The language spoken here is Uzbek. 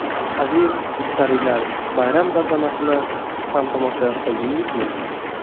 Aziz mushtariylar, bayram tantanasini siz ham tomosha qildingizmi?